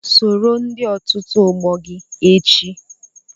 Soro ndị otu ọgbọ gị echi!